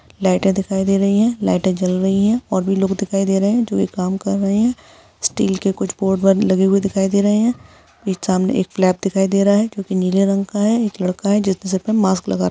लाइटे दिखाई दे रही है लाइटे जल रही है और भी लोग दिखाई दे रहे है जो ये काम कर रहे स्टील के कुछ लिखे हुए दिखाई दे रहे है सामने एक दिखाई दे रहा है जो नीले रंग का है एक लड़का है जिसके सर में मास्क लगा र--